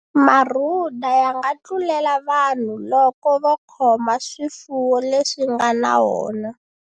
Marhuda ya nga tlulela vanhu loko vo khoma swifuwo leswi nga na wona.